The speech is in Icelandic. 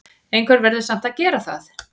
Einhver verður samt að gera það!